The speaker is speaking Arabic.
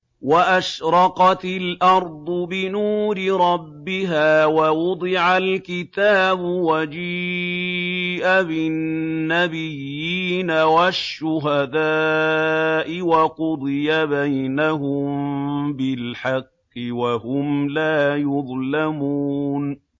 وَأَشْرَقَتِ الْأَرْضُ بِنُورِ رَبِّهَا وَوُضِعَ الْكِتَابُ وَجِيءَ بِالنَّبِيِّينَ وَالشُّهَدَاءِ وَقُضِيَ بَيْنَهُم بِالْحَقِّ وَهُمْ لَا يُظْلَمُونَ